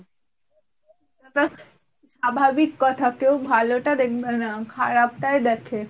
এত স্বাভাবিক কথা কেউ ভালো টা দেখবেন খারাপটাই দেখে।